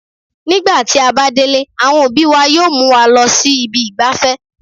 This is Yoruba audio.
Nígbà tí a bá délé, àwọn òbí wa yóò mú wa lọ sí ibi ìgbafẹ́